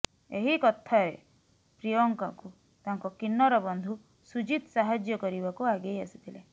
ଏହି କଥାରେ ପ୍ରିୟଙ୍କାକୁ ତାଙ୍କ କିନ୍ନର ବନ୍ଧୁ ସୁଜିତ ସାହାଜ୍ୟ କରିବାକୁ ଆଗେଇ ଆସିଥିଲେ